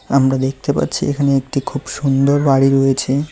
আমরা দেখতে পাচ্ছি এখানে একটি খুব সুন্দর বাড়ি রয়েছে।